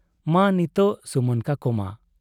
ᱢᱟ ᱱᱤᱛᱚᱜ ᱥᱩᱢᱟᱹᱱ ᱠᱚᱠᱚ ᱢᱟ ᱾